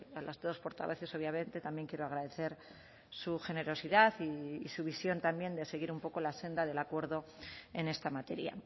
a las dos portavoces obviamente también quiero agradecer su generosidad y su visión también de seguir un poco la senda del acuerdo en esta materia